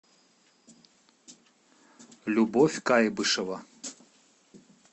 любовь кайбышева